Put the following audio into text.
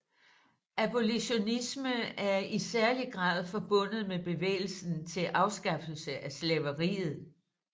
Abolitionisme er i særlig grad forbundet med bevægelsen til afskaffelse af slaveriet